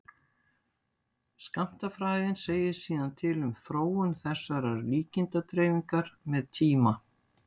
skammtafræðin segir síðan til um þróun þessarar líkindadreifingar með tíma